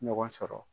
Ɲɔgɔn sɔrɔ